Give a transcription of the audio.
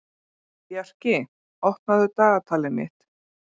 Bjarki, opnaðu dagatalið mitt.